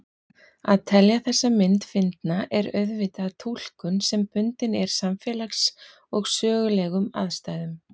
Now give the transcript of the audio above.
Að telja þessa mynd fyndna er auðvitað túlkun sem bundin er samfélags- og sögulegum aðstæðum.